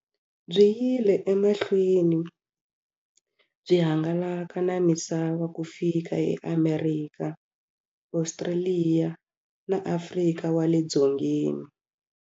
Byi yile emahlweni byi hangalaka na misava ku fika eAmerika, Ostraliya na Afrika wale dzongeni.